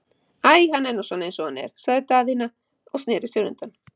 Æi, hann er nú svona eins og hann er, sagði Daðína og sneri sér undan.